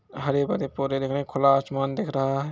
हरे-भरे पौधे दिख रहे है खुला आसमान दिख रहा है।